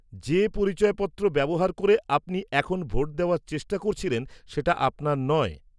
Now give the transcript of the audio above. -যে পরিচয়পত্র ব্যবহার করে আপনি এখন ভোট দেওয়ার চেষ্টা করছিলেন সেটা আপনার নয়।